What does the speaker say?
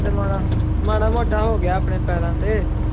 ਤੇ ਮਾੜਾ ਮਾੜਾ ਮੋਟਾ ਹੋ ਗਿਆ ਆਪਣੇ ਪੈਰਾਂ ਤੇ